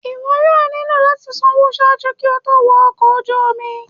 iwọ yóò nilo lati sanwo ṣaaju ki o to wọ ọkọ oju omi